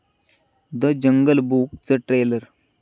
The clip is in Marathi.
द जंगल बुक'चं ट्रेलर